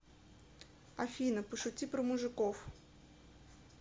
афина пошути про мужиков